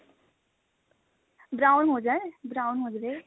brown ਹੋ ਜਾਏ brown ਹੋ ਜਾਵੇ